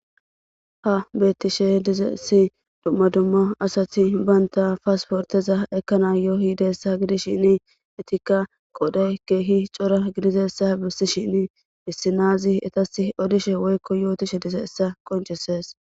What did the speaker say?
Ha betishe dizaysi duma duma asati banta passporteza ekanayo yizaysa gidishin etika qoday kehi c'ora gidizaysa besishin issi nazi etasi odishe woyko yotishe dizaysa qonc'ses.